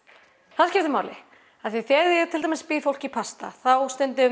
því þegar ég til dæmis bíð fólki í pasta þá